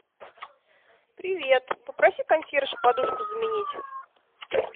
привет попроси консьержа подушку заменить